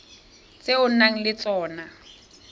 tse o nang le tsona